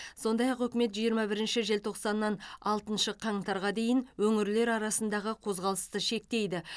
сондай ақ үкімет жиырма бірінші желтоқсаннан алтыншы қаңтарға дейін өңірлер арасындағы қозғалысты шектейді